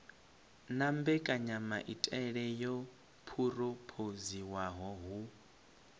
na mbekanyamaitele yo phurophoziwaho hu